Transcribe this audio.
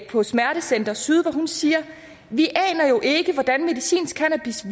på smertecenter syd siger vi aner jo ikke hvordan medicinsk cannabis